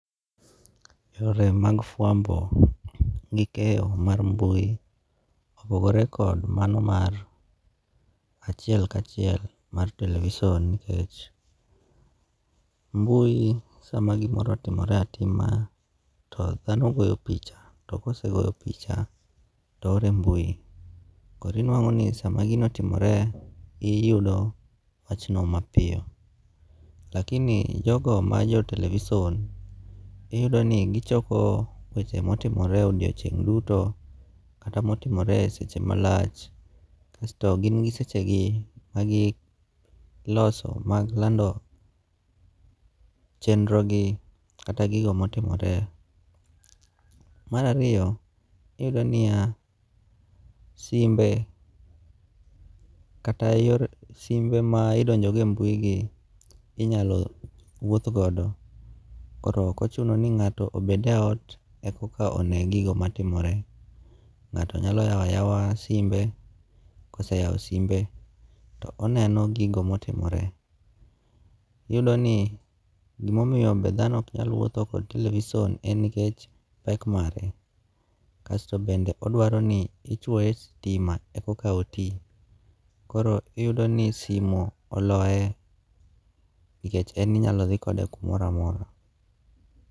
Yore mag fuambo gi keyo mar mbui opogore kod mano mar achiel kachiel mar television nikech, mbui sama gimoro otimore atima to thano goyo picha to kosegoyo picha to ore mbui, koro inwango' ni sama gino otimore iyudo wachno mapiyo, lakini jogo ma jo television iyudo ni gichoke wechemotimore e odiochieng' duto kata motimore e sechemalach kasto gin gi sechegi mangi loso mag lando chendrogi kata gigo ma otimore. Marariyo iyudo ni ya simbe kata simbe ma idonjo go e mbui gi inyalo wuoth godo koro okochuno ni nga'to obed e ot eka one gigo matimore, nga'to nyalo yao ayawa simbe koseyao simbe to oneno gigo motimore, iyudoni gimomiyo be thano ok nyalo wutho gi television en pek mare kasto bende odwani isoye stima eka oti koro iyudoni simu oloye nikech en inyalo thi kode kumoro amora.